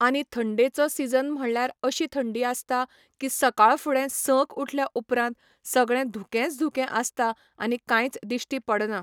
आनी थंडेचो सिझन म्हणल्यार अशी थंडी आसता की सकाळ फुडें संक उठल्या उपरांत सगळें धुकेंच धुकें आसता आनी कांयच दिश्टी पडना.